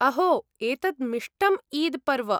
अहो! एतत् मिष्टम् ईद् पर्व!